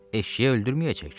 Eşşəyi öldürməyəcək ki.